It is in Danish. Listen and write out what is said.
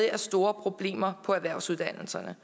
er store problemer på erhvervsuddannelserne